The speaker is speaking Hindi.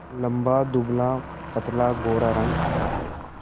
लंबा दुबलापतला गोरा रंग